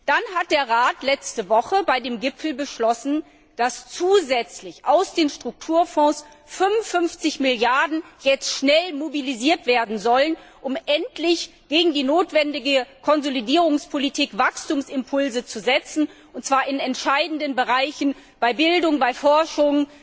Dann hat der Rat letzte Woche bei dem Gipfel beschlossen, dass jetzt zusätzlich aus den Strukturfonds schnell 55 Milliarden Euro mobilisiert werden sollen, um endlich für die notwendige Konsolidierungspolitik Wachstumsimpulse zu setzen, und zwar in entscheidenden Bereichen bei Bildung, Forschung,